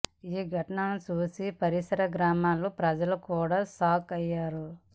ఈ ఘటనను చూసి పరిసర గ్రామ ప్రజలు కూడా షాక్ అయ్యారు